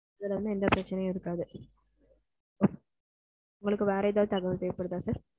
இதுல வந்து எந்த பிரச்சனையும் இருக்காது, உங்களுக்கு வேற ஏதாவது தகவல் தேவைப்படுத்தா sir?